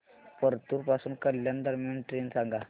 परतूर पासून कल्याण दरम्यान ट्रेन सांगा